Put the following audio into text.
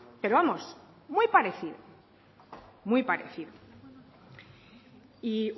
pero vamos muy parecido muy parecido y